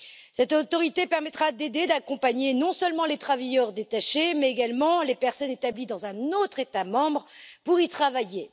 Cette autorité permettra d'aider et d'accompagner, non seulement les travailleurs détachés, mais également les personnes établies dans un autre État membre pour y travailler.